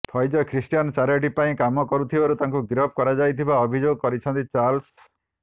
Faiz Christian charity ପାଇଁ କାମ କରୁଥିବାରୁ ତାଙ୍କୁ ଗିରଫ କରାଯାଇଥିବା ଅଭିଯୋଗ କରିଛନ୍ତି ଚାଲର୍ସ